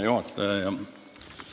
Hea juhataja!